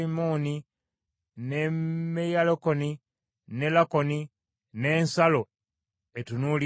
ne Meyalakoni ne Lakoni n’ensalo etunuulidde Yafo.